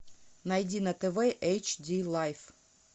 найди на тв эйч ди лайф